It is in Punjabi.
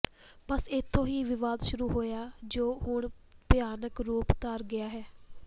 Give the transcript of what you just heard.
ਬੱਸ ਇਥੋਂ ਹੀ ਵਿਵਾਦ ਸ਼ੁਰੂ ਹੋਇਆ ਜੋ ਹੁਣ ਭਿਆਨਕ ਰੂਪ ਧਾਰ ਗਿਆ ਹੈ